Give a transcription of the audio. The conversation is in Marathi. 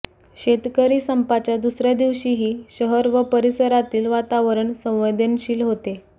शेतकरी संपाच्या दुसऱ्या दिवशीही शहर व परिसरातील वातावरण संवेदनशील होते